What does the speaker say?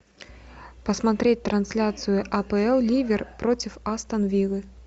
посмотреть трансляцию апл ливер против астон виллы